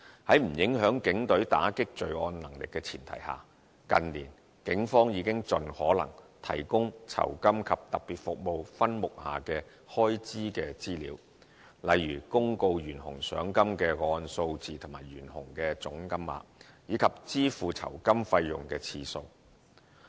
在不影響警隊打擊罪案能力的前提下，近年警方已經盡可能提供酬金及特別服務分目下的開支資料，例如公告懸紅賞金的個案數字和懸紅的總金額，以及支付酬金費用的次數。